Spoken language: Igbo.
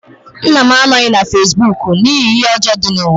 Nna m anọghị na fesibuuku n'ihi ihe ọjọọ dị n'ụwa.